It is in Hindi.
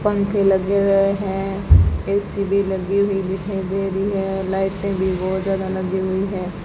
पंखे लगे हुए हैं ए_सी भी लगी हुई दिखाई दे रही है लाइटें भी बहोत ज्यादा लगी हुई है।